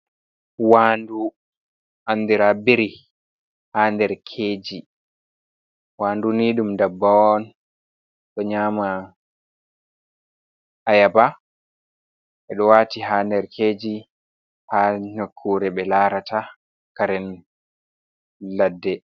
Waandu andira biri, ha nder keji. wanduni ɗum dabbawon ɗo nyama ayaba, ɓeɗo wati ha nerkeji ha nakkure ɓe larata karen ladde.